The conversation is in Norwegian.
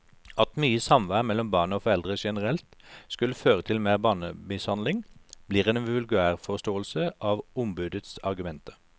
At mye samvær mellom barn og foreldre generelt skulle føre til mer barnemishandling, blir en vulgærforståelse av ombudets argumenter.